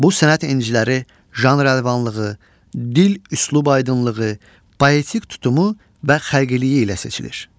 Bu sənət inciləri janr əlvanlığı, dil-üslub aydınlığı, poetik tutumu və xəlqiliyi ilə seçilir.